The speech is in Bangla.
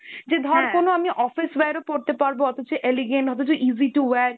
যে ধর কোনো আমি office wear এও পড়তে পারবো, অথচ elegant, অথচ easy to wear